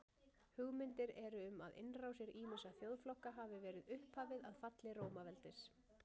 hugmyndir eru um að innrásir ýmissa þjóðflokka hafi verið upphafið að falli rómaveldis